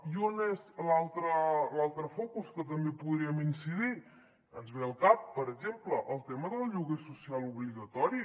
i on és l’altre focus que també hi podríem incidir ens ve al cap per exemple el tema del lloguer social obligatori